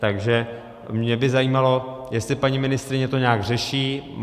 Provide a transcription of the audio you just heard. Takže mě by zajímalo, jestli paní ministryně to nějak řeší.